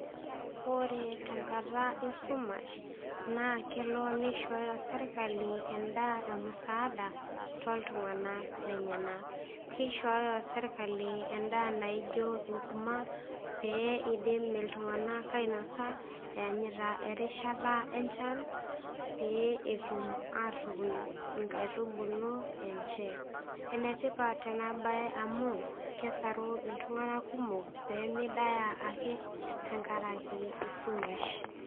Ore tenkata esumash naa kelo nishooyo serkali endaa emusaada toltung'anak lenyenak keishooyo sirkali endaa naijo enkurma pee idim iltung'anak ainasa eanyita erishata enchan pee etum atuun inkaitubulu enche enetipat ena baye amu kesaru iltung'anak kumok pee midaaya ake tenkarake esumash.